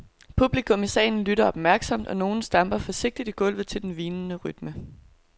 Publikum i salen lytter opmærksomt, og nogle stamper forsigtigt i gulvet til den hvinende rytme.